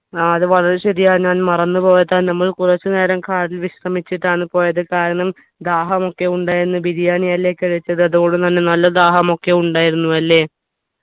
ആ അത് വളരെ ശരിയാ ഞാൻ മറന്നു പോയതാ നമ്മൾ കുറച്ചു നേരം car ൽ വിശ്രമിച്ചിട്ടാണ് പോയത് കാരണം ദാഹമൊക്കെ ഉണ്ടായിരുന്നു ബിരിയാണി അല്ലെ കഴിച്ചത് അതുകൊണ്ടു തന്നെ നല്ല ദാഹമൊക്കെ ഉണ്ടായിരുന്നു അല്ലെ